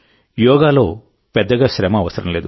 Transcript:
యోగాలో పెద్దగా శ్రమ అవసరం లేదు